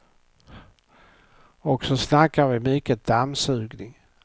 Och så snackar vi mycket dammsugning.